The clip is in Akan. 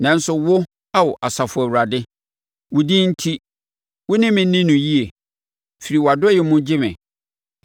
Nanso, wo Ao Asafo Awurade, wo din enti, wo ne me nni no yie; firi wʼadɔeɛ mu gye me.